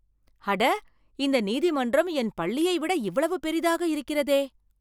அட, இந்த நீதிமன்றம் என் பள்ளியை விட இவ்வளவு பெரிதாக இருக்கிறதே!